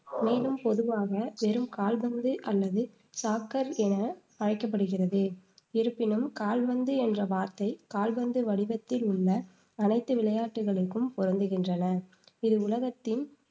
மேலும் பொதுவாக வெறும் கால்பந்து அல்லது soccer என அழைக்கப்படுகிறது. இருப்பினும் கால்பந்து என்ற வார்த்தை கால்பந்து வடிவத்தில் உள்ள அனைத்து விளையாட்டுகளுக்கும் பொருந்துகின்றன, இது உலகத்தின்